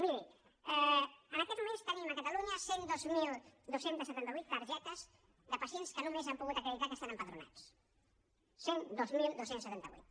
miri en aquests moments tenim a catalunya cent i dos mil dos cents i setanta vuit targetes de pacients que només han pogut acreditar que estan empadronats cent i dos mil dos cents i setanta vuit